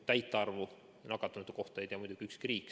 Täit nakatunute arvu ei tea muidugi ükski riik.